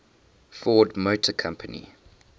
ford motor company